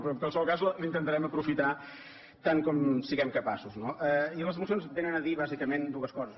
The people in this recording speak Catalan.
però en qualsevol cas la intentarem aprofitar tant com en siguem capaços no i les mocions vénen a dir bàsicament dues coses